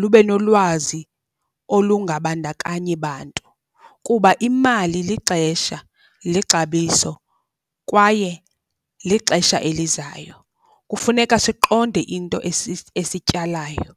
lube nolwazi olungabandakanyi bantu. Kuba imali lixesha, lixabiso kwaye lixesha elizayo, kufuneka siqonde into esityalayo.